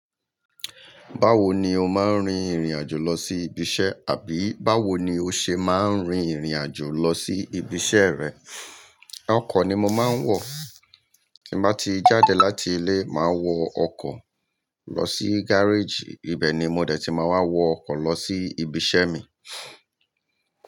Báwo ni o máa ń rin ìrìn àjò lọ sí ibi iṣẹ́? Àbí báwo ni o ṣe máa ń rin ìrìn àjò lọ sí ibi iṣẹ́ rẹ? Ọkọ̀ ni mo máa ń wọ̀. Bí mo bá ti jáde láti ilé, màá wọ ọkọ̀ lọ sí gárèjì. Ibẹ̀ ni mo dẹ̀ tí màá wá wọ ọkọ̀ lọ sí ibi iṣẹ́ mi.